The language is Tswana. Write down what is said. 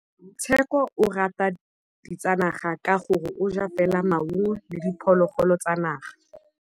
Tshekô o rata ditsanaga ka gore o ja fela maungo le diphologolo tsa naga.